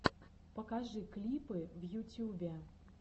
покажи клипы в ютьюбе